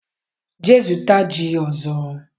jee zụta ji ọzọ!